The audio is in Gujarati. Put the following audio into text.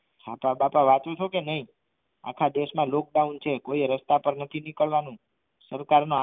છાપા બાપા વછો છો કે નહીં આખા દેશમાં lockdown છે કોઈ રસ્તા પર નથી નીકળવાનું સરકારનો